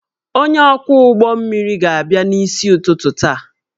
Onye ọkwọ ụgbọ mmiri ga-abịa n'isi ụtụtụ taa